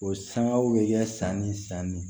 O sangaw bɛ kɛ san ni san ne